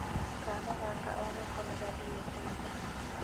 Kana gaka onako nĩ gathĩre kanitha